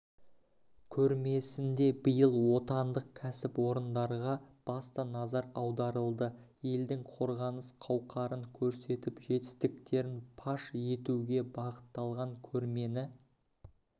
көрмесінде биыл отандық кәсіпорындарға басты назар аударылды елдің қорғаныс қауқарын көрсетіп жетістіктерін паш етуге бағытталған көрмені